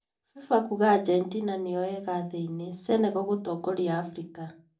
Fifa kuga Argentina nĩo ega thĩ-inĩ, Senegal gũtongoria Afrika.